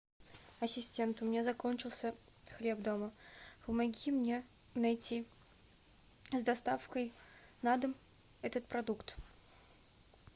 ассистент у меня закончился хлеб дома помоги мне найти с доставкой на дом этот продукт